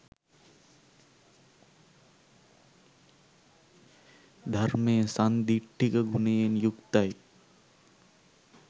ධර්මය සන්දිට්ඨික ගුණයෙන් යුක්තයි